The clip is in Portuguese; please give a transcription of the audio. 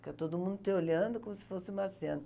Fica todo mundo te olhando como se fosse marciano.